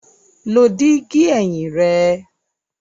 Lo digi ẹhin rẹ!